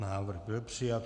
Návrh byl přijat.